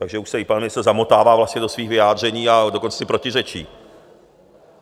Takže už se i pan ministr zamotává vlastně do svých vyjádření, a dokonce si protiřečí.